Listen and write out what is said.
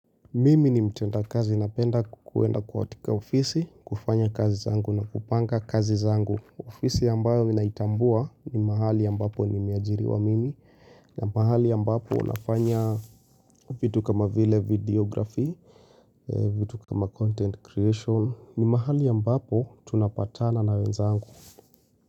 Mimi ni mtenda kazi, napenda kuwenda kuhatika ofisi, kufanya kazi zangu na kupanga kazi zangu. Ofisi ambayo ninaitambua ni mahali ambapo nimeajiriwa mimi pahali ambapo nafanya vitu kama vile videography vitu kama content creation, ni mahali ambapo tunapatana na wenzangu.